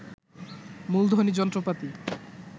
মূলধনী যন্ত্রপাতি